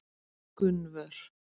Gunnvör